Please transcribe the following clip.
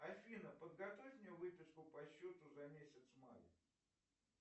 афина подготовь мне выписку по счету за месяц май